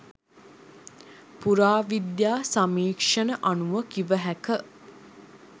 පුරාවිද්‍යා සමීක්ෂණ අනුව කිව හැක.